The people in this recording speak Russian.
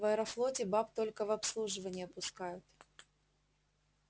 в аэрофлоте баб только в обслуживание пускают